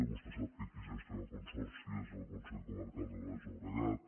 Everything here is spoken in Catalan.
vostè sap que qui gestiona el consorci és el consell comarcal del baix llobregat